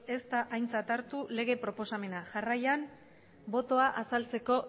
ez da aintzat hartu lege proposamena jarraian botoa azaltzeko